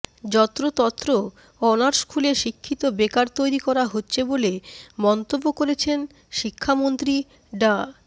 যত্রতত্র অনার্স খুলে শিক্ষিত বেকার তৈরি করা হচ্ছে বলে মন্তব্য করেছেন শিক্ষামন্ত্রী ডা